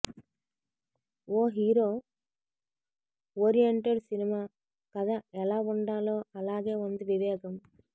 ఓ hero oriented cinema కథ ఎలా ఉండాలో అలాగే వుంది వివేగం